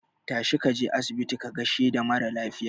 Tashi kaje asibiti ka gaishe da maralafiya